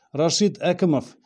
рашит әкімов